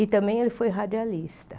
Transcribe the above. E também ele foi radialista.